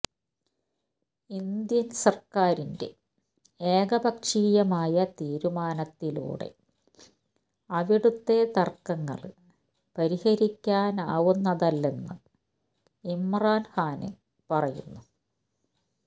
Indian സര്ക്കാരിന്റെ ഏകപക്ഷീയമായ തീരുമാനത്തിലൂടെ അവിടുത്തെ തര്ക്കങ്ങള് പരിഹരിക്കാനാവുന്നതല്ലെന്ന് ഇമ്രാന് ഖാന് പറയുന്നു